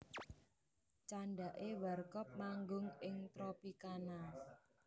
Candhake Warkop manggung ing Tropicana